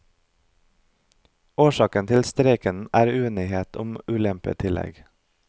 Årsaken til streiken er uenighet om ulempetillegg.